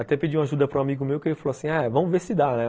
Até pedi uma ajuda para um amigo meu que falou assim, vamos ver se dá, né?